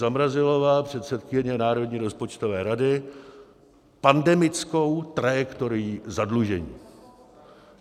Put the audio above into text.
Zamrazilová, předsedkyně Národní rozpočtové rady, pandemickou trajektorií zadlužení.